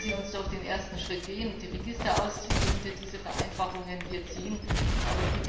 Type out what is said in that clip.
Lassen Sie uns doch den ersten Schritt gehen und die Registerauszüge unter diesen Vereinfachungen erfassen!